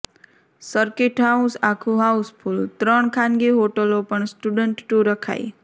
circuit house આખુ house full ત્રણ ખાનગી હોટલો પણ સ્ટેન્ડ ટુ રખાઇ